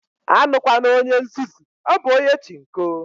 Awukwala onye nzuzu, ọ bụ onye Chinko